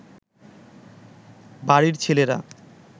বাড়ির ছেলেরা